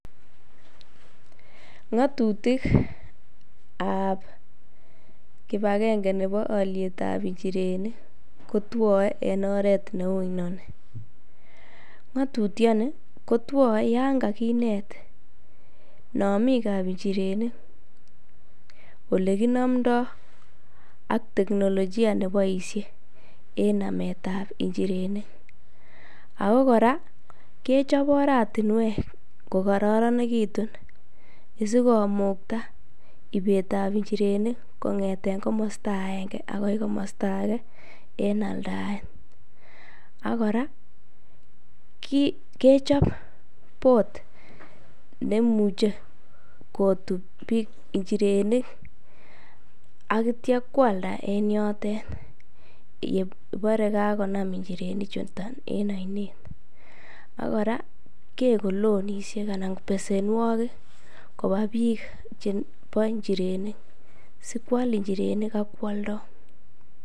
Ng'otutikab kibakeng'e nebo olietab njirenik kotwoe en oret neu inoni, ng'otutioni kotwoe yoon kakinet nomiikab njirenik, olekinomndo ak teknolojia nekiboishen en nametab njirenik ak ko kora kechob oratinwek ko kororonekitun asikomukta ibeetab njirenik kong'eten komosto akeng'e akoi komosto akee en aldaet, ak kora kechob boat nemuche kotuu njirenik ak kityo kwalda en yotet ng'obore kakonam njireni chuton en oinet, ak kora keko loanishek anan besenwokik kobaa bik chebo njirenik sikwal njirenik ak kwoldo.